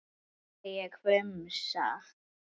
sagði ég hvumsa.